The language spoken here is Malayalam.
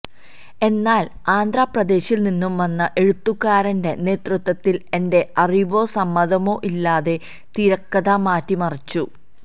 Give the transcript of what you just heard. എന്നാല് ആന്ധ്രാ പ്രദേശിൽ നിന്ന് വന്ന എഴുത്തുകാരന്റെ നേതൃത്വത്തില് എന്റെ അറിവോ സമ്മതമോ ഇല്ലാതെ തിരക്കഥ മാറ്റി മറിച്ചു